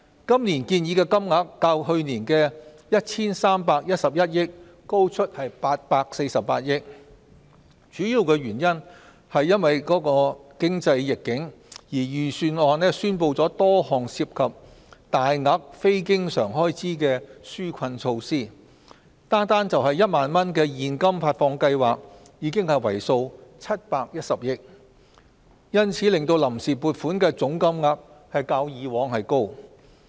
今年建議的金額較去年的 1,311 億元高出848億元，主要是因應經濟逆境，預算案宣布了多項涉及大額非經常開支的紓困措施，單是1萬元現金發放計劃已為數710億元，因此令臨時撥款的總金額較過往為高。